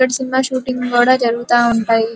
ఇక్కడ cinema shootings కూడా జరుగుత ఉంటాయి.